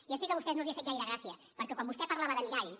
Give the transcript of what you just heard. ja sé que a vostès no els ha fet gaire gràcia perquè quan vostè parlava de miralls